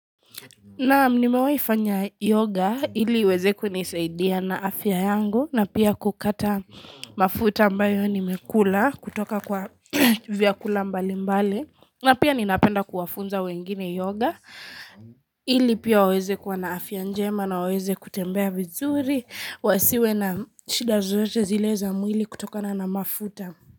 Na mnimewaifanya yoga ili weze kunisaidia na afya yangu na pia kukata mafuta ambayo nimekula kutoka kwa vyakula mbali mbali. Na pia ninapenda kuwafunza wengine yoga ili pia weze kwa na afya njema na weze kutembea vizuri wasiwe na shida zozote zile za mwili kutoka na na mafuta.